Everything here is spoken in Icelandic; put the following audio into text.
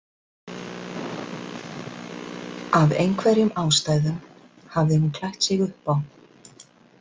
Af einhverjum ástæðum hafði hún klætt sig upp á.